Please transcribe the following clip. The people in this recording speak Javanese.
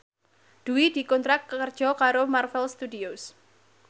Dwi dikontrak kerja karo Marvel Studios